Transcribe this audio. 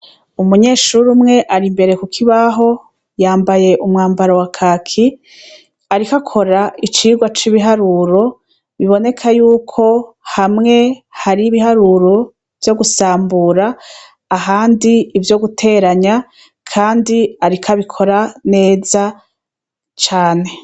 Umunyeshure umwe ari imbere kukibaho, yambaye umwambaro wa kaki, ariko akora icigwa c'ibiharuro, biboneka yuko hamwe hari ibiharuro vyo gusambura, ahandi ivyo guteranya, kandi ariko abikora neza cane.